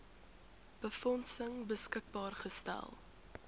befondsing beskikbaar gestel